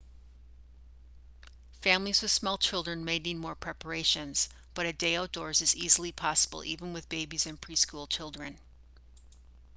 families with small children may need more preparations but a day outdoors is easily possible even with babies and pre-school children